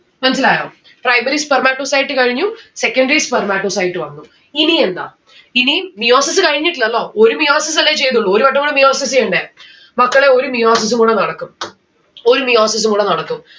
മനസ്സിലായോ? primary spermatocyte കഴിഞ്ഞു secondary spermatocyte വന്നു. ഇനി എന്താ? ഇനീം meiosis കഴിഞ്ഞിട്ടില്ലല്ലോ ഒരു meiosis അല്ലെ ചെയ്തുള്ളു ഒരു വട്ടം കൂട meiosis ചെയ്യണ്ടേ. മക്കളെ ഒരു meiosis ഉം കൂട നടക്കും. ഒരു meiosis ഉം കൂട നടക്കും.